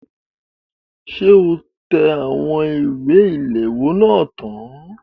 Ṣé o tẹ àwọn ìwé ilèwọ́ náà tán?